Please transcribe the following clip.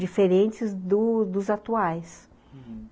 diferentes do dos atuais, uhum.